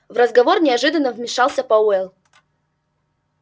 в разговор неожиданно вмешался пауэлл